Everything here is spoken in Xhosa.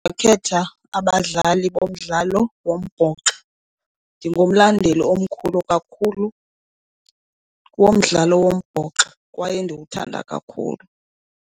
Ndingakhetha abadlali bomdlalo wombhoxo. Ndingumlandeli omkhulu kakhulu womdlalo wombhoxo kwaye ndiwuthanda kakhulu.